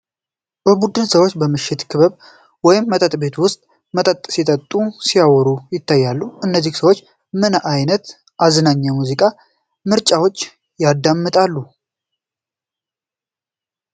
የቡድን ሰዎች በምሽት ክበብ ወይም መጠጥ ቤት ውስጥ መጠጥ ሲጠጡና ሲያወሩ ይታያሉ። እነዚህ ሰዎች ምን ዓይነት አዝናኝ የሙዚቃ ምርጫዎች ያዳምጣሉ?